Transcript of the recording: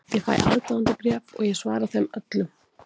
Ég fæ aðdáendabréf og ég svara þeim öllum.